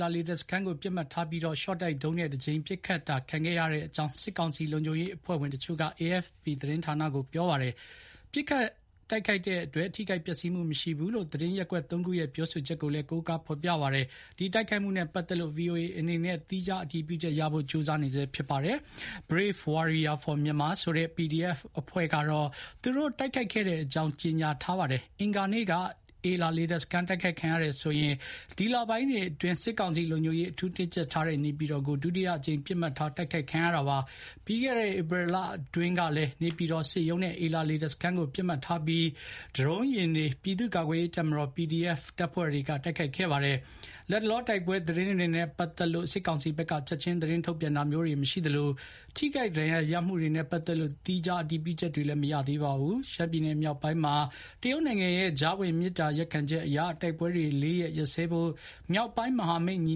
လာလေတပ်စခန်းကို ပစ်မှတ်ထားပြီး ရှောတိုက်ဒုံးနဲ့ ပစ်ခတ်တာခံခဲ့ရတဲ့အကြောင်း စစ်ကောင်စီ လုံခြုံရေးအဖွဲ့ဝင်တချို့က AFP သတင်းဌာနကို ပြောပါတယ်။ ပစ်ခတ်တိုက်ခိုက်တဲ့အတွက် ထိခိုက်ပျက်စီးမှုမရှိဘူးလို့ သတင်းရက်ကွက် သုံးခုရဲ့ ပြောဆိုချက်ကိုလည်း ကိုးကားဖေါ်ပြပါတယ်။ ဒီတိုက်ခိုက်မှုနဲ့ ပတ်သက်လို့ VOA အနေနဲ့ သီးခြားအတည်ပြုချက်ရဖို့ ကြိုးစားနေဆဲ ဖြစ်ပြီး Brave Warriors for Myanmar ဆိုတဲ့ PDF အဖွဲ့ကတော့ အင်္ဂါနေ့မနက် ၉ နာရီကျော်ကျော်မှာ နေပြည်တော် လေတပ်စခန်းကို ရှော့တိုက်ဒုံး ၅ ခုနဲ့ တိုက်ခိုက်ခဲ့တဲ့အကြောင်း ကြေညာချက် ထုတ်ပြန်ထားပါတယ်။ အင်္ဂါနေ့က နေပြည်တော်လေဆိပ် တိုက်ခိုက်ခံရတာဟာ ဒီလပိုင်းတွေအတွင်း စစ်ကောင်စီက လုံခြုံရေး အထူးတင်းကြပ်ထားတဲ့ နေပြည်တော်ကို ဒုတိယအကြိမ် ပစ်မှတ်ထား တိုက်ခိုက်ခံရတာ ဖြစ်ပါတယ်။ ပြီးခဲ့တဲ့ ဧပြီလအတွင်းကလည်း နေပြည်တော် စစ်ရုံးနဲ့ အေလာလေတပ်ကို ပစ်မှတ်ထားပြီး ဒရုံးယာဉ်တွေ ပြည်သူ့ကာကွယ်ရေးတပ်မတော် PDF တပ်ဖွဲ့တွေက တိုက်ခိုက်ခဲ့ပါတယ်။ လတ်တလော တိုက်ပွဲသတင်းတွေနဲ့ ပတ်သက်လို့ စစ်ကောင်စီဘက်က ချက်ခြင်း သတင်းထုတ်ပြန်တာမျိုးတွေ မရှိသလို ထိခိုက်ဒဏ်ရာရမှုတွေနဲ့ ပတ်သက်လို့ သီးခြား အတည်ပြုချက်တွေတော့ မရသေးပါဘူး။ ရှမ်းပြည်နယ် မြောက်ပိုင်းမှာ တရုတ်နိုင်ငံရဲ့ ကြားဝင် မေတ္တာရပ်ခံချက်အရ တိုက်ပွဲတွေ လေးရက် ရပ်စဲဖို့ မြောက်ပိုင်း မဟာမိတ်ညီ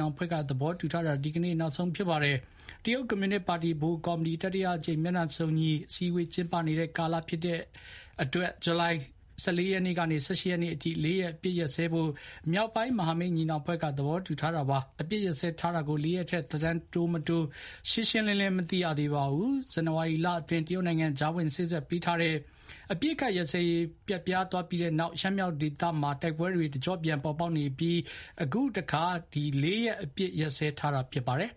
နောင်အဖွဲ့က သဘောတူထားတာ ဒီနေ့ နောက်ဆုံး ဖြစ်ပါတယ်။ တရုတ်ကွန်မြူနစ်ပါတီ ဗဟိုကော်မတီ တတိယအကြိမ် မျက်နှာစုံညီအစည်းအဝေး ကျင်းပနေတဲ့ ကာလဖြစ်တဲ့အတွက် ဇူလိုင်လ ၁၄ ရက်နေ့ကနေ ၁၈ ရက်နေ့အထိ လေးရက် အပစ်ရပ်စဲဖို့ မြောက်ပိုင်း မဟာမိတ်ညီနောင်အဖွဲ့က သဘောတူထားတာ ဖြစ်ပါတယ်။ အပစ်ရပ်စဲထားတာကို လေးရက်ထက် သက်တမ်းတိုးမတိုး ရှင်းရှင်းလင်းလင်းမသိရသေးပါဘူး။ ဇန္နဝါရီလအတွင်း တရုတ်နိုင်ငံ ကြားဝင်စေ့စပ်ပေးထားတဲ့ အပစ်အခတ်ရပ်စဲရေး ပျက်ပြားသွားပြီးတဲ့နောက် ရှမ်းမြောက်ဒေသမှာ တိုက်ပွဲတွေ တကြော့ပြန် ပေါ်ပေါက်နေပြီး အခုတခါ လေးရက် အပစ်ရပ်စဲထားတာ ဖြစ်ပါတယ်။